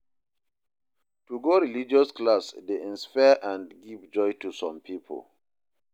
To go religious class de inspire and give joy to some pipo